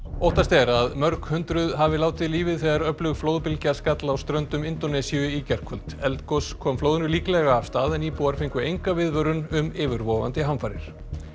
óttast er að mörg hundruð hafi látið lífið þegar öflug flóðbylgja skall á ströndum Indónesíu í gærkvöld eldgos kom flóðinu líklega af stað en íbúar fengu enga viðvörun um yfirvofandi hamfarir